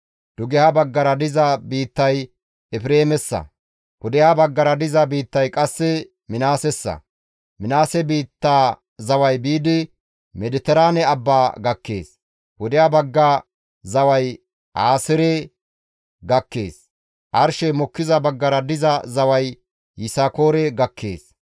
Dugeha baggara diza biittay Efreemessa; pudeha baggara diza biittay qasse Minaasessa. Minaase biitta zaway biidi Mediteraane abbaa gakkees; pudeha bagga zaway Aaseere gakkees; arshey mokkiza baggara diza zaway Yisakoore gakkees.